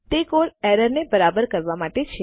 તે કોડ એરરને બરાબર કરવા માટે છે